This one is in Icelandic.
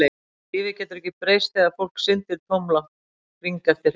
Lífið getur ekki breyst þegar fólk syndir tómlátt hring eftir hring.